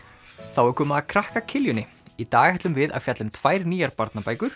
þá er komið að krakka í dag ætlum við að fjalla um tvær nýjar barnabækur